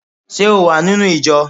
Ṣé o wà nínú ìjọ?